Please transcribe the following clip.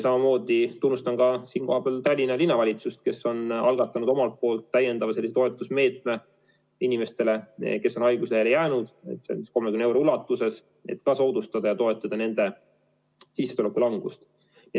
Samamoodi tunnustan siinkohal Tallinna Linnavalitsust, kes on algatanud täiendava toetusmeetme inimestele, kes on haiguslehele jäänud, 30 euro ulatuses, et ka nende sissetuleku langust.